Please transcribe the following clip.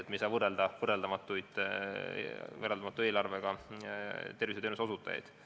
Me ei saa võrrelda võrreldamatuid ja võrreldamatu eelarvega teenuseosutajaid.